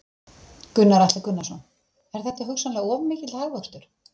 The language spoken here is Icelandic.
Gunnar Atli Gunnarsson: Er þetta hugsanlega of mikill hagvöxtur?